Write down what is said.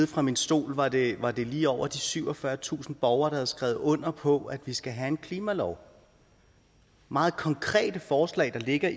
fra min stol var det var det lige over syvogfyrretusind borgere havde skrevet under på vi skal have en klimalov meget konkrete forslag der ligger